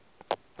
ya le ka mo go